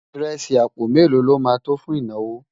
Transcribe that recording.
írèsì àpò mélò ló má tó fún ìnáwó?